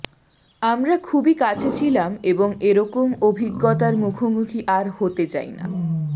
আমরা খুবই কাছে ছিলাম এবং এরকম অভিজ্ঞতার মুখোমুখি আর হতে চাই না